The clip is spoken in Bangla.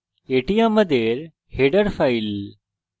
এটি আমাদের header file